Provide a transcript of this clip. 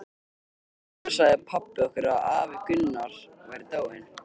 Undir vorið sagði pabbi okkur að afi Gunnar væri dáinn.